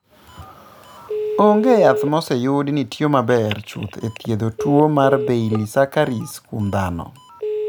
Onge yath ma oseyud ni tiyo maber chuth e thiedho tuo mar Baylisascaris kuom dhano.